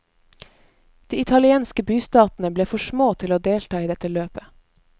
De italienske bystatene ble for små til å delta i dette løpet.